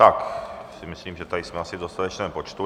Tak si myslím, že tady jsme asi v dostatečném počtu.